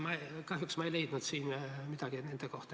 Kahjuks ma ei leidnud siin midagi nende kohta.